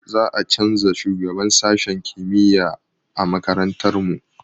Za a canza shugaban sashen kimiyya a makarantar mu